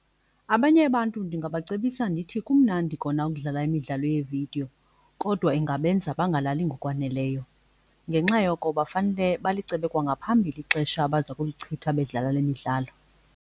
Abanye abantu ndingabacebisa ndithi kumnandi kona ukudlala imidlalo yeevidiyo kodwa ingabenza bangalali ngokwaneleyo. Ngenxa yoko bafanele balicebe kwangaphambili ixesha abaza kulichitha bedlala le midlalo.